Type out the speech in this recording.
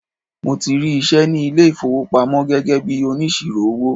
Mo ti rí iṣẹ́ ní ilé ìfowópamọ́ gẹ́gẹ́ bíi onísirò owó.